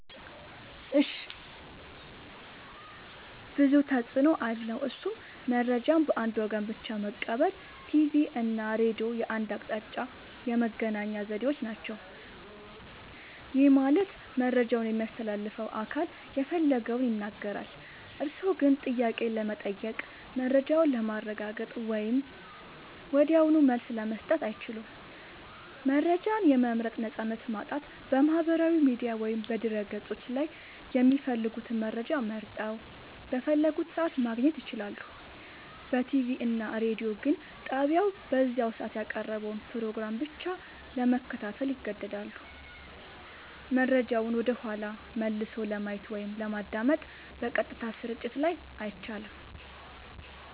ብዙ ተፅኖ አለዉ እሱም :-መረጃን በአንድ ወገን ብቻ መቀበል ቲቪ እና ሬዲዮ የአንድ አቅጣጫ የመገናኛ ዘዴዎች ናቸው። ይህ ማለት መረጃውን የሚያስተላልፈው አካል የፈለገውን ይናገራል፤ እርስዎ ግን ጥያቄ ለመጠየቅ፣ መረጃውን ለማረጋገጥ ወይም ወዲያውኑ መልስ ለመስጠት አይችሉም። መረጃን የመምረጥ ነፃነት ማጣት በማህበራዊ ሚዲያ ወይም በድረ-ገጾች ላይ የሚፈልጉትን መረጃ መርጠው፣ በፈለጉት ሰዓት ማግኘት ይችላሉ። በቲቪ እና ሬዲዮ ግን ጣቢያው በዚያ ሰዓት ያቀረበውን ፕሮግራም ብቻ ለመከታተል ይገደዳሉ። መረጃውን ወደኋላ መልሶ ለማየት ወይም ለማዳመጥ (በቀጥታ ስርጭት ላይ) አይቻልም።